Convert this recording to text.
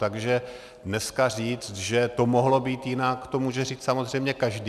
Takže dneska říct, že to mohlo být jinak, to může říct samozřejmě každý.